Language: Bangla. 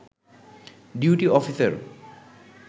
duty officer